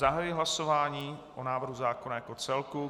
Zahajuji hlasování o návrhu zákona jako celku.